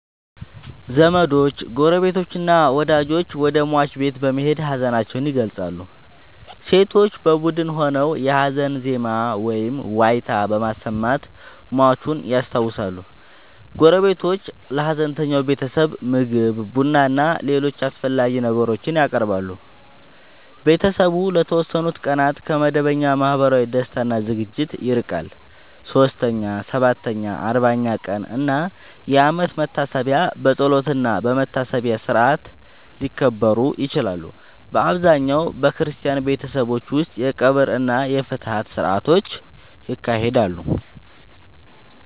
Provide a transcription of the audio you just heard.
ዘመዶች፣ ጎረቤቶችና ወዳጆች ወደ ሟች ቤት በመሄድ ሀዘናቸውን ይገልጻሉ። ሴቶች በቡድን ሆነው የሀዘን ዜማ ወይም ዋይታ በማሰማት ሟቹን ያስታውሳሉ። ጎረቤቶች ለሀዘንተኛው ቤተሰብ ምግብ፣ ቡናና ሌሎች አስፈላጊ ነገሮችን ያቀርባሉ። ቤተሰቡ ለተወሰኑ ቀናት ከመደበኛ ማህበራዊ ደስታ እና ዝግጅቶች ይርቃል። 3ኛ፣ 7ኛ፣ 40ኛ ቀን እና የአመት መታሰቢያ በጸሎትና በመታሰቢያ ሥርዓት ሊከበሩ ይችላሉ። በአብዛኛው በክርስቲያን ቤተሰቦች ውስጥ የቀብር እና የፍትሐት ሥርዓቶች ይካሄዳሉ።